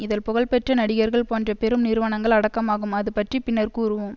இதல் புகழ் பெற்ற நடிகர்கள் போன்ற பெரும் நிறுவனங்கள் அடக்கமாகும்அது பற்றி பின்னர் கூறுவோம்